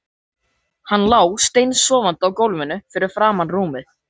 Hann lá steinsofandi á gólfinu fyrir framan rúmið.